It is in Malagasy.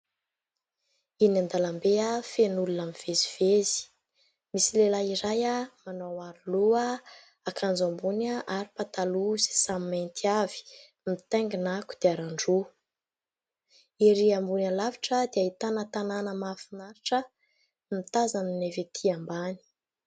Eny an-dalambe feno olona mivezivezy. Misy lehilahy iray manao aro loha, akanjo ambony ary pataloha sisiny mainty avy mitaingina kodiaran-droa. Erỳ ambony alavitra dia ahitana tanàna mahafinaritra mitazana ny avy etỳ ambany.